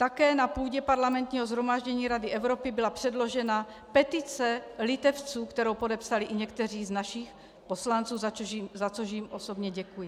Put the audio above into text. Také na půdě Parlamentního shromáždění Rady Evropy byla předložena petice Litevců, kterou podepsali i někteří z našich poslanců, za což jim osobně děkuji.